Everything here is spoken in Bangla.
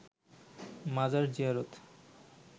মাজার জিয়ারত